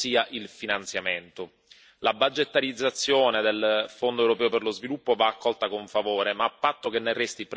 La budgetarizzazione del Fondo europeo per lo sviluppo va accolta con favore, ma a patto che ne resti preservata la sua destinazione.